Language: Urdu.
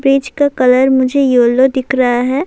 برج کا کلر مجھے یلو دیکھ رہا ہے۔